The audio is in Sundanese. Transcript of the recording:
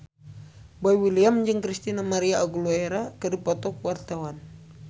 Boy William jeung Christina María Aguilera keur dipoto ku wartawan